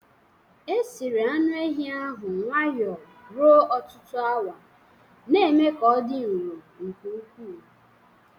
Esiri anu ehi ahụ nwayọ ruo ọtụtụ awa, na-eme ka ọ dị nro nke ukwu.